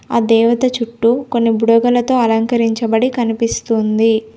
ఆ దేవత చుట్టూ కొన్ని బుడగలతో అలంకరించబడి కనిపిస్తుంది.